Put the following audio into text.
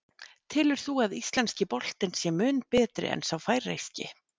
Telur þú að íslenski boltinn sé mun betri en sá færeyski?